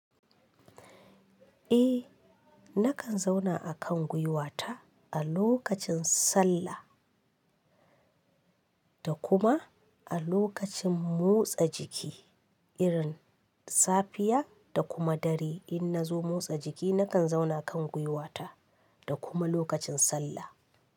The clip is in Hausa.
Eh, nakan zauna a kan gwiwata a lokacin sallah da kuma a lokacin motsa jiki irin safiya da kuma dare in na zo motsa jiki nakan zauna kan gwiwata da kuma lokacin sallah.